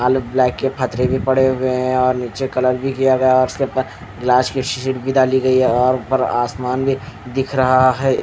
और ब्लैक के पत्थरे भी पड़े हुए है और निचे कलर भी किया हुआ है और इसके ऊपर गिलास की शीशी भी डाली गयी है और ऊपर आसमान भी दिख रहा है--